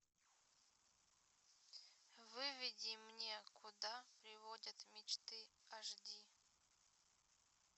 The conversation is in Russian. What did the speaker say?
выведи мне куда приводят мечты аш ди